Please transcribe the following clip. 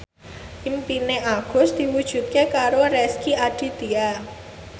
impine Agus diwujudke karo Rezky Aditya